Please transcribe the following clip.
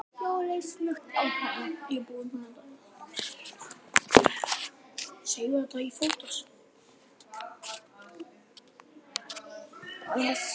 Jóel leit snöggt á hana.